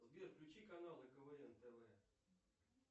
сбер включи каналы квн тв